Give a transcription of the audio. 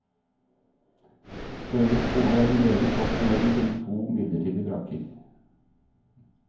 Skøyen skole er meget godt fornøyd med sine to midlertidige brakker.